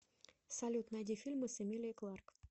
салют найди фильмы с эмилией кларк